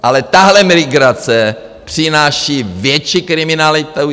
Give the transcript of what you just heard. Ale tahle migrace přináší větší kriminalitu.